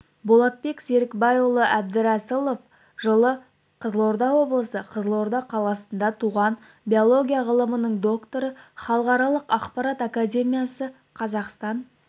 болатбек серікбайұлы әбдірәсілов жылы қызылорда облысы қызылорда қаласында туған биология ғылымының докторы халықаралық ақпарат академиясы қазақстан